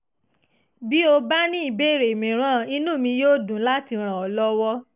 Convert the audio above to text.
bí o bá ní ìbéèrè mìíràn inú mi yóò dùn láti ràn ọ́ lọ́wọ́